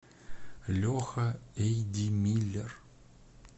леха эйдимиллер